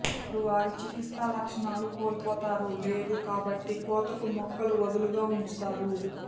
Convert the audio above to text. వారు వారి చికిత్సా లక్షణాలు కోల్పోతారు లేదు కాబట్టి కోతకు మొక్కలు వదులుగా ఉంచుతారు